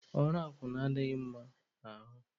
Ọrụ akwụna a adịghịkwa m mma n'ahụ.